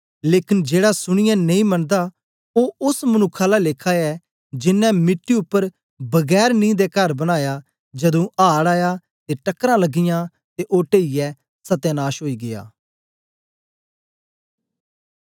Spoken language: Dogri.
लेकन जेड़ा सुनीयै नेई मनदा ओ ओस मनुक्ख आला लेखा ऐ जेनें मिट्टी उपर बगैर नीं दे कर बनाया जदू आड़ आया ते टकरां लगियाँ ते ओ टेईयै सत्यानाश ओई गीया